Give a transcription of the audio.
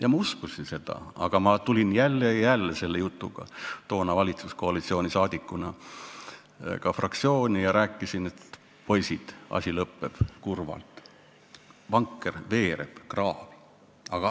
Ja ma uskusin seda, aga ma toona tulin jälle ja jälle selle jutuga valitsuskoalitsiooni liikmena fraktsiooni ja rääkisin, et poisid, asi lõpeb kurvalt, vanker veereb kraavi.